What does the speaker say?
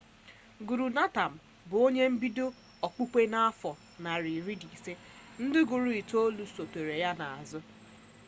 guru nanak 1469–1539 bụ onye bidoro okpukpe a n'afọ narị iri na ise. ndị guru itoolu sotere ya n'azụ